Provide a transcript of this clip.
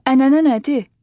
Ənənə nədir?